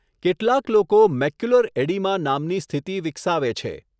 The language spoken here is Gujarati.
કેટલાક લોકો મેક્યુલર એડીમા નામની સ્થિતિ વિકસાવે છે.